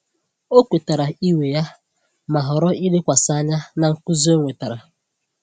Ọ kwetara iwe ya, ma họrọ ilekwasị anya na nkuzi ọ wetara.